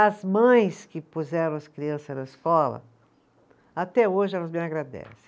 As mães que puseram as criança na escola, até hoje elas me agradecem.